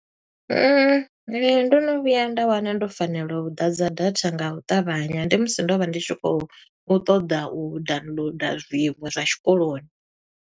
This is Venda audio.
Ndo no vhuya nda wana ndo fanela u ḓadza datha nga u ṱavhanya, ndi musi ndo vha ndi tshi khou ṱoḓa u downloader zwiṅwe zwa tshikoloni.